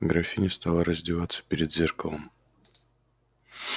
графиня стала раздеваться перед зеркалом